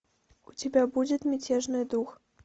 у тебя будет мятежный дух